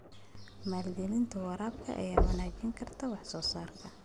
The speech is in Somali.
Maalgelinta waraabka ayaa wanaajin karta wax soo saarka.